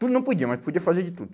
Tudo não podia, mas podia fazer de tudo.